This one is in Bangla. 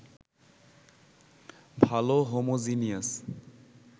ভাল হোমোজিনিয়াস